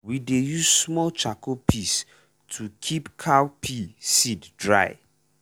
we dey use small charcoal piece to keep cowpea seed dry.